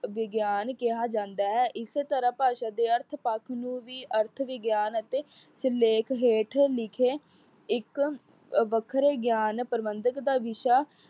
ਵਿਗਿਆਨ ਕਿਹਾ ਜਾਂਦਾ ਹੈ। ਇਸ ਤਰਾਂ ਭਾਸ਼ਾ ਦੇ ਅਰਥ ਪੱਖ ਨੂੰ ਵੀ ਅਰਥ ਵਿਗਿਆਨ ਅਤੇ ਸਿਰਲੇਖ ਹੇਠ ਲਿਖੇ ਇੱਕ ਅਹ ਵੱਖਰੇ ਗਿਆਨ ਪ੍ਰਬੰਧਕ ਦਾ ਵਿਸ਼ਾ